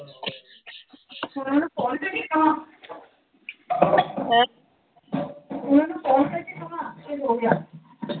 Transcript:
ਹੁਣ ਉਹਨੂੰ ਫੋਨ ਕਰਕੇ ਕਹਾਂ। ਹੈਂ। ਹੁਣ ਉਹਨੂੰ ਫੋਨ ਕਰਕੇ ਕਵਾਂ, ਵੀ ਹੋ ਗਿਆ।